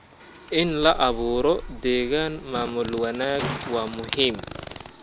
In la abuuro deegaan maamul wanaag waa muhiim.